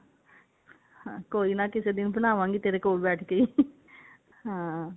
ਹਾਂ ਕੋਈ ਨਾ ਕਿਸੇ ਦਿਨ ਬਣਾਵਾਂ ਗੀ ਤੇਰੇ ਕੋਲ ਬੈਠ ਕੇ ਹਾਂ